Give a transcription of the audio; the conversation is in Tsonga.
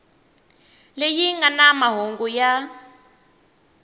leyi nga na mahungu ya